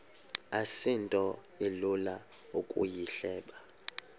asinto ilula ukuyihleba